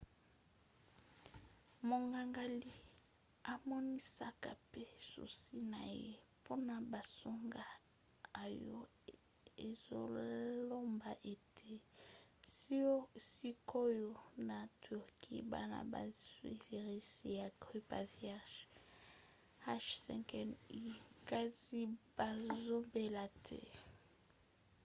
monganga lee amonisaka pe susi na ye mpona basango oyo ezoloba ete sikoyo na turquie bana bazwi virisi ya grippe aviaire h5n1 kasi bazobela te